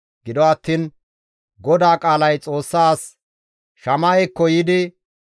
Gido attiin GODAA qaalay Xoossa as Shama7ekko yiidi,